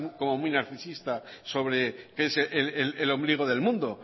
como muy narcisista sobre el ombligo del mundo